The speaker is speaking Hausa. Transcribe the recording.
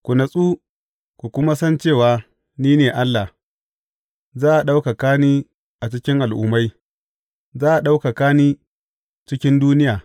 Ku natsu ku kuma san cewa ni ne Allah; za a ɗaukaka ni a cikin al’ummai, za a ɗaukaka ni cikin duniya.